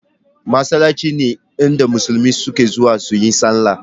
Masallatai ne inda musulmi suke zuwa yin sallah